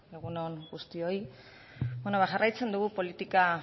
egun on guztioi ba beno jarraitzen dugu